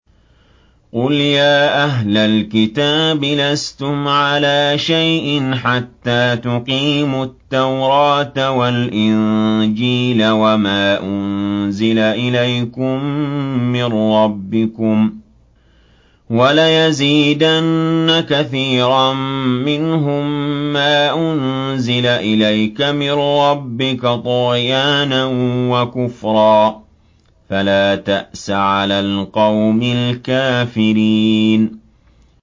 قُلْ يَا أَهْلَ الْكِتَابِ لَسْتُمْ عَلَىٰ شَيْءٍ حَتَّىٰ تُقِيمُوا التَّوْرَاةَ وَالْإِنجِيلَ وَمَا أُنزِلَ إِلَيْكُم مِّن رَّبِّكُمْ ۗ وَلَيَزِيدَنَّ كَثِيرًا مِّنْهُم مَّا أُنزِلَ إِلَيْكَ مِن رَّبِّكَ طُغْيَانًا وَكُفْرًا ۖ فَلَا تَأْسَ عَلَى الْقَوْمِ الْكَافِرِينَ